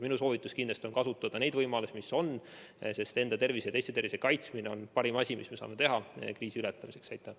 Minu soovitus kindlasti on kasutada neid võimalusi, mis olemas on, sest enda ja teiste tervise kaitsmine on parim, mida me saame kriisi ületamiseks teha.